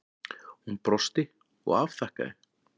Hún brosti og afþakkaði.